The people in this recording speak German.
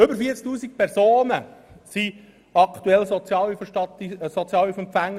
Über 40 000 Personen sind gemäss Sozialhilfestatistik aktuell Sozialhilfeempfänger.